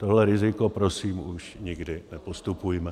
Tohle riziko prosím už nikdy nepodstupujme.